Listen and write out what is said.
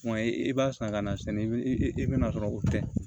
Kuma i b'a san ka na sini i bɛ na sɔrɔ o tɛ